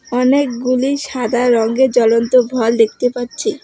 অনেকগুলি সাদা রঙ্গের জ্বলন্ত ভল দেখতে পাচ্ছি।